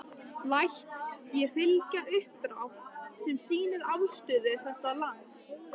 Læt ég fylgja uppdrátt., sem sýnir afstöðu þessa lands.